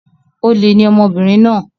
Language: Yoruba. Olè ni ọmọbìnrin náà.